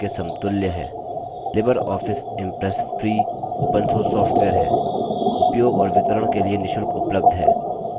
Libre office impress free open source software है उपयोग और वितरण के लिए निशुल्क उपलब्ध है